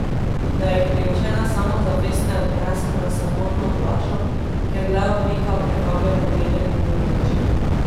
Da jih priučena samozavest ne odnese na samotno plažo, kjer le oblika privablja poglede mimoidočih.